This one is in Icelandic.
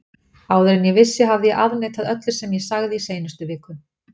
Áður en ég vissi hafði ég afneitað öllu sem ég sagði í seinustu viku.